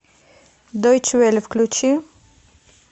дойче велле включи